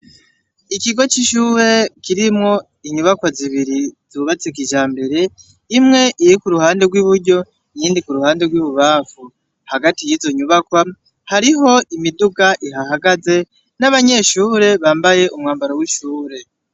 Ikigo c'ishure kirimwo inyubakwa zibiri zubatse kijambere imwe iri k’uruhande rw'iburyo niyindi ku ruhande rw'ibubafu hagati y'izo nyubakwa hariho imiduga iha hagaze n'abanyeshure bambaye umwambaro w'ishure.